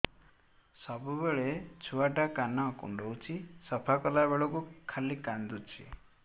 ସବୁବେଳେ ଛୁଆ ଟା କାନ କୁଣ୍ଡଉଚି ସଫା କଲା ବେଳକୁ ଖାଲି କାନ୍ଦୁଚି